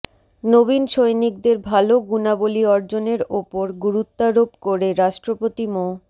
নবীন সৈনিকদের ভালো গুণাবলি অর্জনের ওপর গুরুত্বারোপ করে রাষ্ট্রপতি মো